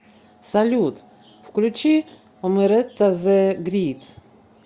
салют включи омеретта зэ грит